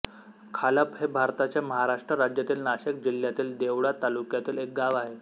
खालप हे भारताच्या महाराष्ट्र राज्यातील नाशिक जिल्ह्यातील देवळा तालुक्यातील एक गाव आहे